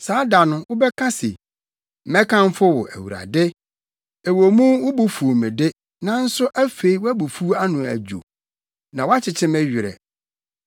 Saa da no, wobɛka se: “Mɛkamfo wo, Awurade! Ɛwɔ mu wo bo fuw me de, nanso afei wʼabufuw ano adwo. Na woakyekye me werɛ.